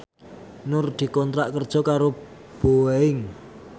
Nur dikontrak kerja karo Boeing